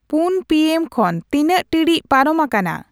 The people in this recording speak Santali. ᱯᱩᱱ ᱯᱤ ᱮᱢ ᱠᱷᱚᱱ ᱛᱤᱱᱟᱜ ᱴᱤᱲᱤᱡ ᱯᱟᱨᱚᱢ ᱟᱠᱟᱱᱟ